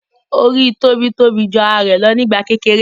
Orí tóbi tóbi jù ara rẹ lọ nígbà kékeré